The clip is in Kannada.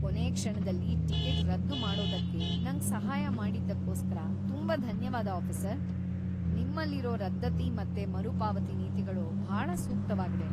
ಕೊನೇ ಕ್ಷಣದಲ್ಲಿ ಟಿಕೆಟ್ ರದ್ದು ಮಾಡೋದಕ್ಕೆ ನಂಗ್ ಸಹಾಯ ಮಾಡಿದ್ದಕ್ಕೋಸ್ಕರ ತುಂಬಾ ಧನ್ಯವಾದ ಆಫೀಸರ್!‌ ನಿಮ್ಮಲ್ಲಿರೋ ರದ್ದತಿ ಮತ್ತೆ ಮರುಪಾವತಿ ನೀತಿಗಳು ಭಾಳ ಸೂಕ್ತವಾಗಿವೆ.